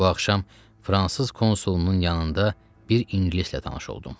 Bu axşam fransız konsulunun yanında bir ingilislə tanış oldum.